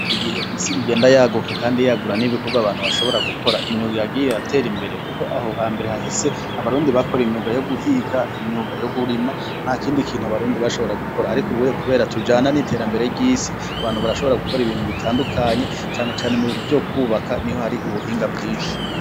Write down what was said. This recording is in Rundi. Iki gihe isi igenda yaguka Kandi yagura n’ibikorwa abantu bashobora gukora, imyuga yagiye iratera imbere kuko aho hambere hahise abarundi bakora imyuga yo guhiga, imyuga yo kurima, ntakindi kintu abarundi bashobora gukora ariko ubuya kubera tujana n’iterambere ry’isi, abantu barashobora gukora ibintu bitandukanye cane cane mubintu vy’ukwubaka niho har’ubuhinga bwinshi.